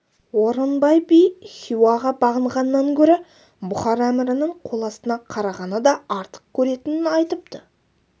орынбай би хиуаға бағынғаннан гөрі бұхар әмірінің қоластына қарағаны да артық көретінін айтыпты